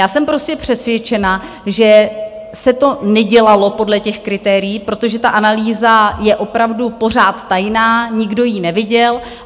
Já jsem prostě přesvědčena, že se to nedělalo podle těch kritérií, protože ta analýza je opravdu pořád tajná, nikdo ji neviděl.